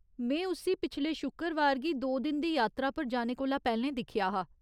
में उस्सी पिछले शुक्रवार गी दो दिन दी यात्रा पर जाने कोला पैह्‌लें दिक्खेआ हा।